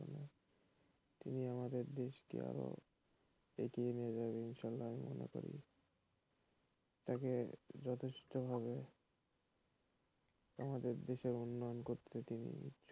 তিনি আমাদের দেশকে আরো এগিয়ে নিয়ে যাবে এটা আমি মনে করি তাকে যথেষ্ট ভাবে আমাদের উন্নয়ন করতে,